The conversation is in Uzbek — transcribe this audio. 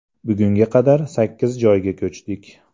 Bugunga qadar sakkiz joyga ko‘chdik.